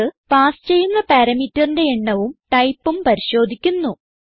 ഇത് പാസ് ചെയ്യുന്ന parameterന്റെ എണ്ണവും ടൈപ്പും പരിശോധിക്കുന്നു